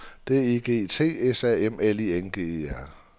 D I G T S A M L I N G E R